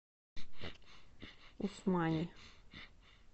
усмани